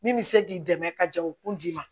Min bɛ se k'i dɛmɛ ka jɛ o kun d'i ma